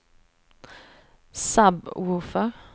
sub-woofer